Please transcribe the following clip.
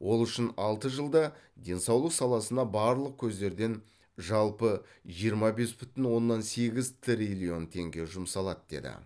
ол үшін алты жылда денсаулық саласына барлық көздерден жалпы жиырма бес бүтін оннан сегіз триллион теңге жұмсалады деді